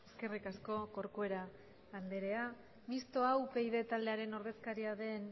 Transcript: eskerrik asko corcuera andrea mistoa upyd taldearen ordezkaria den